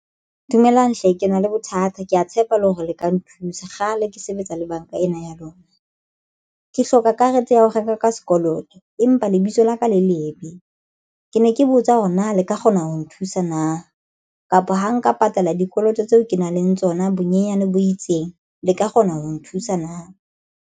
Dumelang hle ke na le bothata ke ya tshepa le hore le ka nthusa kgale. Ke sebetsa le banka ena ya lona ke hloka karete ya ho reka ka sekoloto. Empa lebitso laka le lebe ke ne ke botsa hore na le ka kgona ho nthusa na kapa ha nka patala dikoloto tseo ke nang le tsona bonyenyane bo itseng le ka kgona ho nthusa na?